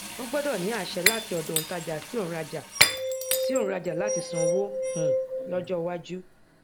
ó gbọdọ ní àṣẹ láti ọdọ òǹtajà sí òǹrajà sí òǹrajà láti san owó um lọjọ iwájú